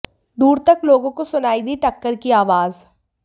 दूर तक लोगों को सुनाई दी टक्कर की आवाज